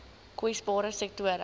kwesbare sektore